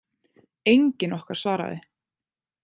Enginn okkar svaraði.